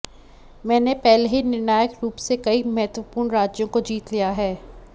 मैंने पहले ही निर्णायक रूप से कई महत्वपूर्ण राज्यों को जीत लिया है